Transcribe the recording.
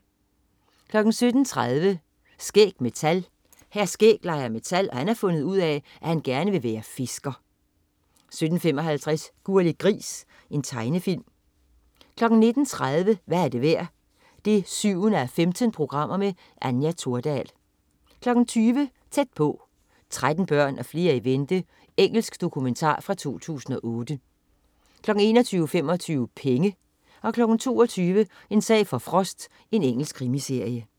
17.30 Skæg med tal. Hr. Skæg leger med tal, og han har fundet ud af, at han gerne vil være fisker 17.55 Gurli Gris. Tegnefilm 19.30 Hvad er det værd? 7:15. Anja Thordal 20.00 Tæt på: 13 børn og flere i vente, Engelsk dokumentar fra 2008 21.25 Penge 22.00 En sag for Frost. Engelsk krimiserie